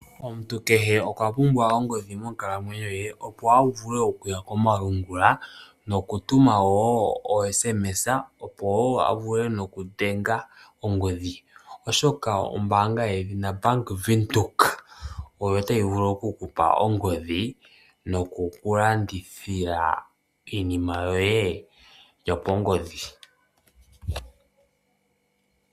Omuntu kehe okwapumbwa ongodhi monkalamwenyo ye opo avule okuya komalungula, nokutuma wo osms opo wo avule nokudhenga ongodhi, oshoka ombaanga yedhina Bank Windhoek oyo tayi vulu okukupa ongodhi noku kulandithila iinima yoye yopongodhi.